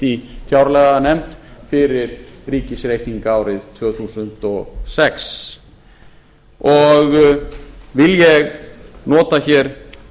í fjárlaganefnd fyrir ríkisreikning árið tvö þúsund og sex vil ég nota hér nota hér